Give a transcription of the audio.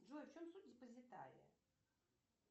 джой в чем суть депозитария